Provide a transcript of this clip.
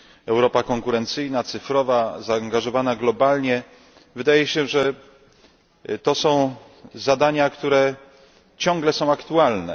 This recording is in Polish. Europa konkurencyjna, cyfrowa, zaangażowana globalnie wydaje się, że to są zadania, które ciągle są aktualne.